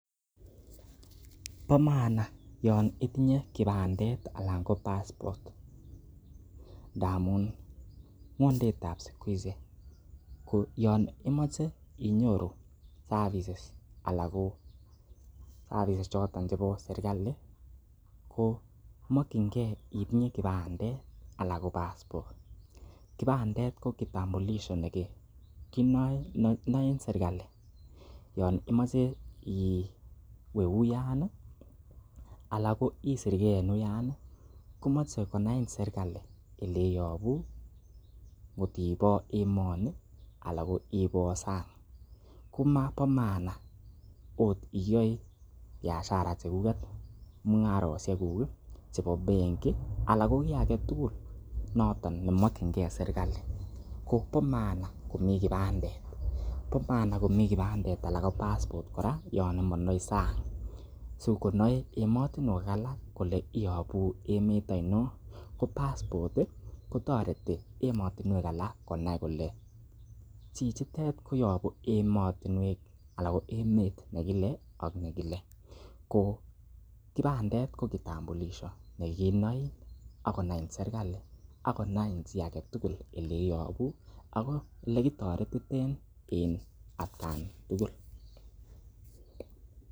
Bo maana yon itinye kipandet alan ko passport ndamun ng'wondet ab siku hizi ko yon imoche inyoru services choto chebo serkalit ko mokinge itinye kipandet anan ko passport kipandet ko kitambulisho ne kinoen serkalit yon imoche iwe uyan anan isirge en uyan komoche konain serkalit ole iyobu, kot ibo emoni anan ibo sang. Kobo maana ot iyoe biashara chekuget, mung'aroshek kuk chebo benkit anan ko kiy age tugul noton nemokinge serkalit ko bo maan komi kipandet anan ko passport kora yon imondoi sang, sikonoin emotinwek alak kole iyobu emet oinon ko passport kotoreti emotinwek alak konai kole chichitet koyobu emet nekile ak nekile ko kipandet ko kitambulisho nikinoin ak konai serkalit ak konain chi age tugul ole iyobu ak olekitoretiten en atkan tugul.